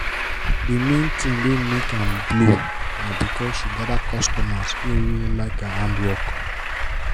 d main tin wey make am blow na because she gather customers wey really like her hand work.